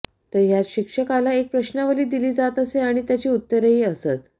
तर ह्यात शिक्षकाला एक प्रश्नावली दिली जात असे आणि त्याची उत्तरेही असत